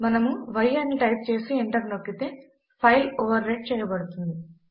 మనము y అని type చేసి ఎంటర్ నొక్కితే ఫైల్ ఓవర్ రైట్ చేయబడుతుంది